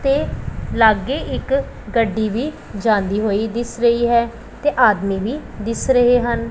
ਤੇ ਲਾਗੇ ਇੱਕ ਗੱਡੀ ਵੀ ਜਾਂਦੀ ਹੋਈ ਦਿਸ ਰਹੀ ਹੈ ਤੇ ਆਦਮੀ ਵੀ ਦਿਸ ਰਹੇ ਹਨ।